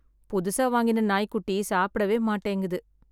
புதுசா வாங்கின நாய்க்குட்டி சாப்பிடவே மாட்டேங்குது